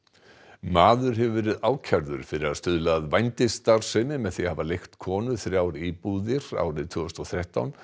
maður hefur verið ákærður fyrir að stuðla að vændisstarfsemi með því að hafa leigt konu þrjár íbúðir árið tvö þúsund og þrettán